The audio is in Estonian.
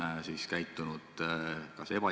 Nüüd, valitsuse tasandil – kas siin on siis midagi erakordset?